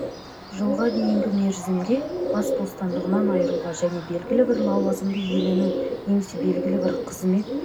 жылға дейінгі мерзімге бас бостандығынан айыруға және белгілі бір лауазымды иелену немесе белгілі бір қызмет